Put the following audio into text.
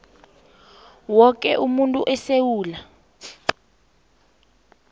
woke umuntu esewula